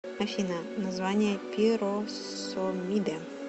афина название пиросомиды